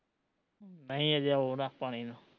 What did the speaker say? ਨਹੀਂ ਅਜੇ ਓਰ ਆ ਪਾਣੀ ਨੂੰ